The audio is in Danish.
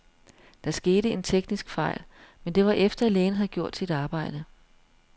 Der skete en teknisk fejl, men det var efter, lægen havde gjort sit arbejde.